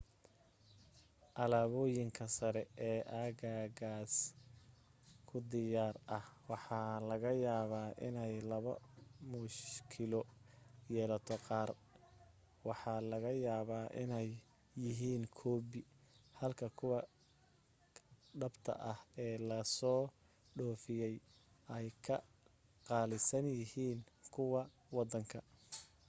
alaaboyinka sare ee aagagaas ku diyaar ah waxa laga yaabaa inay laba mushkilo yeelato qaar waxa laga yaabaa inay yihiin koobi halka kuwa dhabta ah ee la soo dhoofiyay ay ka qaalisan yihiin kuwa waddanka